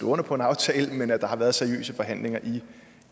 under på en aftale men at der har været seriøse forhandlinger i